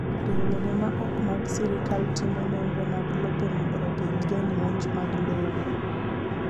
Riwruoge ma ok mag sirkal timo nonro mag lope mondo ogeng' jomonj mag lowo.